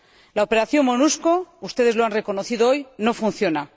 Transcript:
La operación Monusco —ustedes lo han reconocido hoy— no funciona.